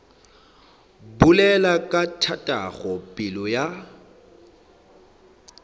bolela ka tatago pelo ya